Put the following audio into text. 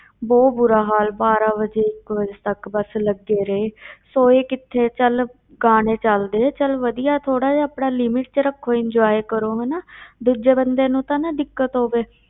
ਬਹੁਤ ਬੁਰਾ ਹਾਲ ਬਾਰਾਂ ਵਜੇ, ਇੱਕ ਵਜੇ ਤੱਕ ਬਸ ਲੱਗੇ ਰਹੇ ਸੋਏ ਕਿੱਥੇ ਚੱਲ ਗਾਣੇ ਚੱਲਦੇ, ਚੱਲ ਵਧੀਆ ਥੋੜ੍ਹਾ ਜਿਹਾ ਆਪਣਾ limit ਵਿੱਚ ਰੱਖੋ enjoy ਕਰੋ ਹਨਾ ਦੂਜੇ ਬੰਦੇ ਨੂੰ ਤਾਂ ਨਾ ਦਿੱਕਤ ਹੋਵੇ।